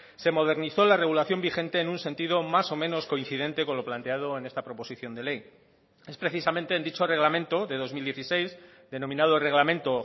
se modernizó la regulación vigente en un sentido más o menos coincidente con lo planteado en esta proposición de ley es precisamente en dicho reglamento de dos mil dieciséis denominado reglamento